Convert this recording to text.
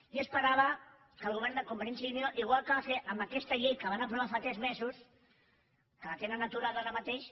jo esperava que el govern de convergència i unió igual que va fer amb aquesta llei que van aprovar fa tres mesos que la tenen aturada ara mateix